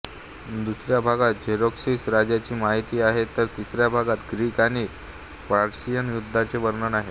दुसऱ्या भागात झेरेक्सिस राजाची माहिती आहे तर तिसया भागात ग्रीक आणि पर्शियन युद्धाचे वर्णन आहे